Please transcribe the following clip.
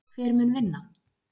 Hver mun vinna?!!!